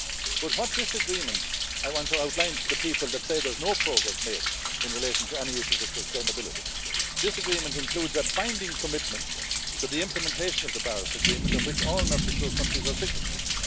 But what this agreement I want to outline to the people that say there's no progress made in relation to any issues of sustainability this agreement includes a binding commitment to the implementation of the Paris Agreement, of which all Mercosur countries are signatories.